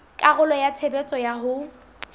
karolo ya tshebetso ya ho